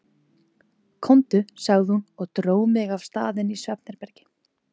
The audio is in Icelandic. Komdu, sagði hún og dró mig af stað inn í svefnherbergi.